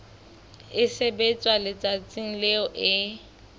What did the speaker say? e sebetswa letsatsing leo e